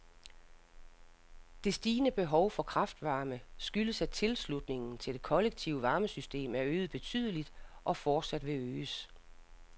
Det stigende behov for kraftvarme skyldes at tilslutningen til det kollektive varmesystem er øget betydeligt og fortsat vil øges.